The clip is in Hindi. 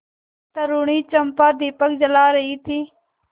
तरूणी चंपा दीपक जला रही थी